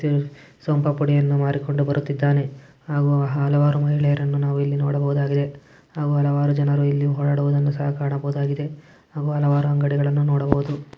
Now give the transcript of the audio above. ಸೋನ್ ಪಾಪಿಡಿಯನ್ನು ಮಾರಿಕೊಂಡು ಬರುತ್ತಿದಾನೆ ಹಾಗೂ ಹಲವಾರು ಮಹಿಳೆಯರನ್ನು ನಾವು ಇಲ್ಲಿ ನೋಡಬಹುದಾಗಿದೆ ಹಾಗೂ ಹಲವಾರು ಜನರು ಇಲ್ಲಿ ಹೊಡಾಡುವುದನ್ನು ಸಹ ಕಾಣಬಹುದಾಗಿದೆ ಹಾಗು ಹಲವಾರು ಅಂಗಡಿಗಳನ್ನು ನೋಡಬಹುದಾಗಿದೆ .